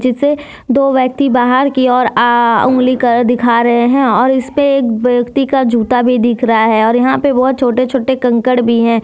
दो व्यक्ति बाहर की ओर आ उंगली कर दिखा रहे हैं और इसपे एक व्यक्ति का जूता भी दिख रहा है और यहां पे बहोत छोटे छोटे कंकड़ भी है।